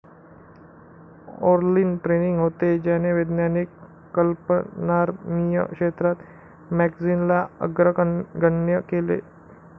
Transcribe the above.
ओर्लीन training होते, ज्याने वैज्ञानिक कल्पनारम्य क्षेत्रात मॅगजीनला अग्रगण्य केले.